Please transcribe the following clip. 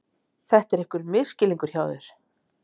Þetta er einhver misskilningur hjá þér!